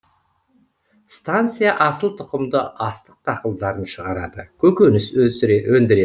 станция асыл тұқымды астық дақылдарын шығарады көкөніс өндіреді